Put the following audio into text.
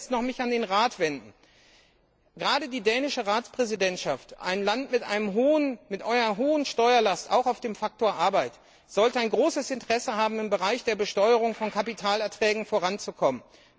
Ich möchte mich zuletzt noch an den Rat wenden Gerade die dänische Ratspräsidentschaft ein Land mit einer hohen Steuerlast, auch auf dem Faktor Arbeit sollte großes Interesse daran haben, im Bereich der Besteuerung von Kapitalerträgen voranzukommen.